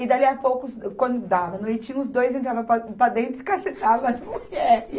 E, dali a pouco os, quando dava noite, os dois entravam para, para dentro e cacetavam as mulheres.